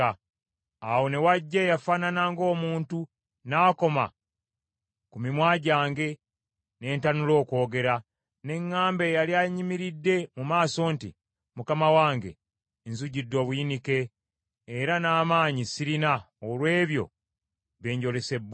Awo ne wajja eyafaanana ng’omuntu n’akoma ku mimwa gyange, ne ntanula okwogera. Ne ŋŋamba eyali annyimiridde mu maaso nti, “Mukama wange nzijjudde obuyinike, era n’amaanyi sirina olw’ebyo bye njolesebbwa.